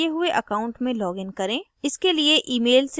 activated किये हुए account में लॉगिन करें